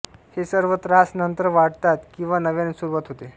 हे सर्व त्रास नंतर वाढतात किंवा नव्याने सुरुवात होते